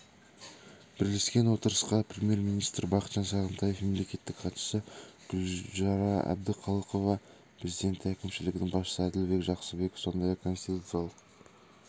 бірлескен отырысқа премьер-министр бақытжан сағынтаев мемлекеттік хатшысы гүлшара әбдіқалықова президенті әкімшілігінің басшысы әділбек жақсыбеков сондай-ақ конституциялық